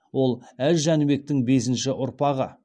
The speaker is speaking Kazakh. ол әз жәнібектің бесінші ұрпағы